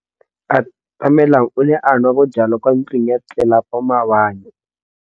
Atamelang o ne a nwa bojwala kwa ntlong ya tlelapa maobane.